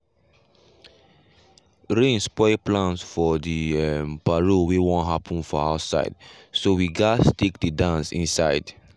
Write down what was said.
rain spoil plans for the um parole wey won happen for outside so we gas take the dance inside.